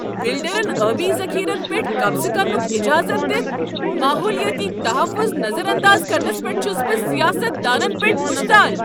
بلڈرن آبی ذخیرن پیٹھ قبضہٕ کرنک اجازت دتھ ماحولیٲتی تحفظ نظر انداز کرنس پیٹھ چھُس بہ سیاست دانن پیٹھ مشتعل۔